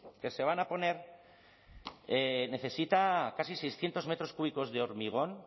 que se van a poner necesita casi seiscientos metros cúbicos de hormigón